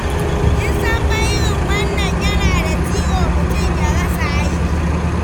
Kin san fa irin wannan yana da ciwo, mutum ya rasa aiki.